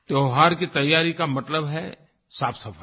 त्योहार की तैयारी का मतलब है साफ़सफाई